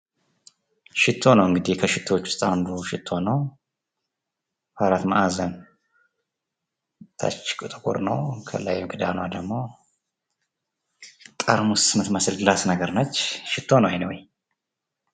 ሽቶ ነው እንግዲህ ከሽቶዎች ውስጥ አንዱ ሽቶ ነው ።አራት ማዕዘን ከታች ጥቁር ነው ከላይ ክዳኑ ደግሞ ግላስ ነገር ነች። ሽቶ ነው እኒ ዌይ።